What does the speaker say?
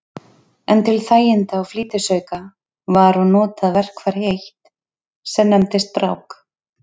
En til þæginda og flýtisauka var og notað verkfæri eitt, sem nefndist brák.